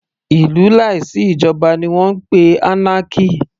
Ìlú láì sí ìjoba ni wọ́n ń pè anarchy.